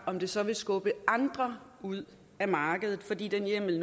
om det så vil skubbe andre ud af markedet fordi den hjemmel